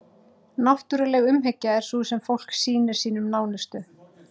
Náttúruleg umhyggja er sú sem fólk sýnir sínum nánustu.